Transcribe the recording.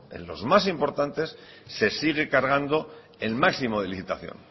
en los más importantes se sigue cargando el máximo de licitación